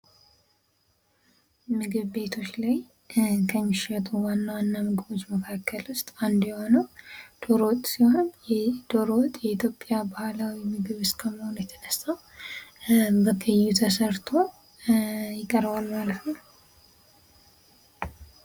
ምግብ ቤቶች ላይ ከሚሸጡ ዋና ዋና ምግቦች መካከል ውስጥ አንዱ የሆነው ዶሮወጥ ሲሆን ይህ ዶሮ ወጥ በኢትዮጵያ ባህላዊ ምግብ እስከ መሆኑ የተነሣ በቀዩ ተሰርቶ ይቀርባል ማለት ነው።